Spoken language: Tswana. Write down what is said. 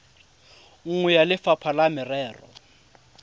nngwe ya lefapha la merero